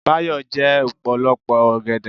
Báyọ̀ jẹ́ ọ̀pọ̀lọpọ̀ ọgẹ̀dẹ̀